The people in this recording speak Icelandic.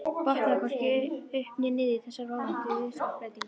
Botnaði hvorki upp né niður í þessari óvæntu viðhorfsbreytingu.